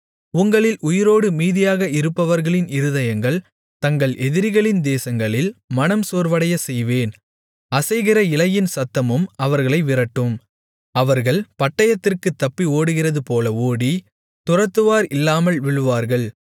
உங்களில் உயிரோடு மீதியாக இருப்பவர்களின் இருதயங்கள் தங்கள் எதிரிகளின் தேசங்களில் மனம் சோர்வடையச் செய்வேன் அசைகிற இலையின் சத்தமும் அவர்களை விரட்டும் அவர்கள் பட்டயத்திற்குத் தப்பி ஓடுகிறதுபோல ஓடி துரத்துவார் இல்லாமல் விழுவார்கள்